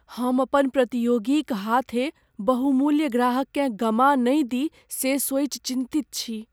हम अपन प्रतियोगी क हाथें बहुमूल्य ग्राहककेँ गमा नहि दी से सोचि चिन्तित छी।